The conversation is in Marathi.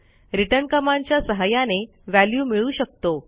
रिटर्न कमांडच्या सहाय्याने व्हॅल्यू मिळवू शकतो